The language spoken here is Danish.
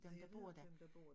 Ja jeg ved ikke hvem der bor der